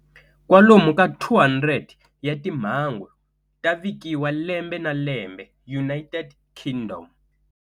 Kwalomu ka 200 ya timhangu ta vikiwa lembe na lembe United Kingdom.